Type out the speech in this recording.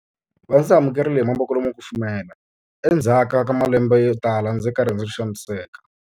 Va ndzi amukerile hi mavoko lama kufumelaka endzhaku ka malembe yotala ndzi ri karhi ndzi xaniseka.